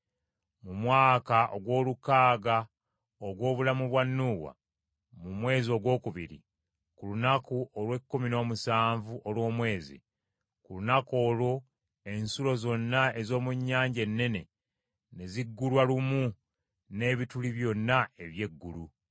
Mu mwaka ogw’olukaaga ogw’obulamu bwa Nuuwa, mu mwezi ogwokubiri, ku lunaku olw’ekkumi n’omusanvu olw’omwezi, ku lunaku olwo ensulo zonna ez’omu nnyanja ennene, ne ziggulwa lumu n’ebituli byonna eby’eggulu.